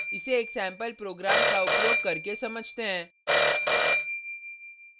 इसे एक sample program का उपयोग करके समझते हैं